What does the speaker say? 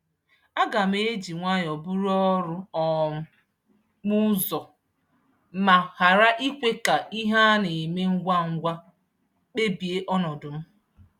Aga m eji nwayọ buru ọrụ um m ụzọ ma ghara ikwe ka ihe a na-eme ngwa ngwa kpebie ọnọdụ m.